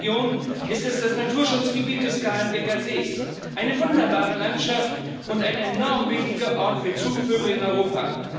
In meiner Region ist es das Naturschutzgebiet des Galenbecker Sees eine wunderbare Landschaft und ein enorm wichtiger Ort für Zugvögel in Europa.